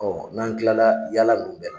n'an kila la yaala la o bɛɛ la